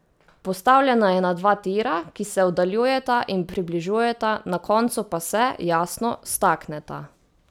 Postavljena je na dva tira, ki se oddaljujeta in približujeta, na koncu pa se, jasno, stakneta.